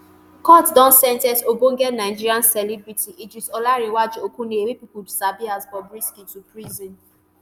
court don sen ten ce ogbonge nigeria celebrity idris olanrewaju okuneye wey pipo sabi as bobrisky to prison.